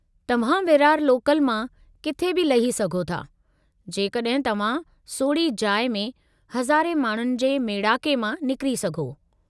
तव्हां विरार लोकल मां किथे बि लही सघो था जेकड॒हिं तव्हां सोढ़ी जाइ में हज़ारें माण्हुनि जे मेड़ाके मां निकरी सघो।